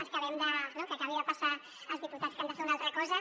esperem que acabin de passar els diputats que han de fer una altra cosa